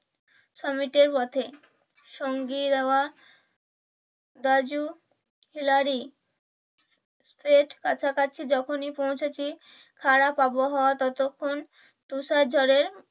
পথে সঙ্গীরা রাজু খিলাড়ি সেই কাছাকাছি যখনি পৌঁছেছি খারাপ আবহাওয়া ততক্ষন তুষার ঝড়ে